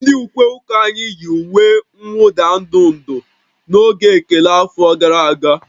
Ndị ukwe ụka anyị yi uwe mwụda ndụ ndụ n'oge ekele afọ gara aga